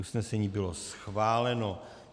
Usnesení bylo schváleno.